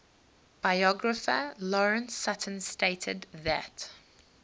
biographer lawrence sutin stated that